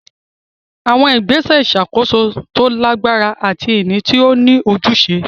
Àwọn ìgbésẹ̀ ìṣàkóso tó lágbára àti ìní tó ní ojúṣe.